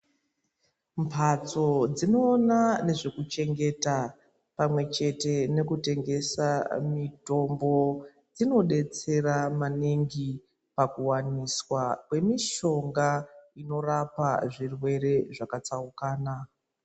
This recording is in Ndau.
Mbatso dzinoona nezvekuchengeta pamwechete nekutengesa mitombo dzinodetsera maningi pakuwaniswa kwemishonga inorapa zvirwere zvakatsaukana.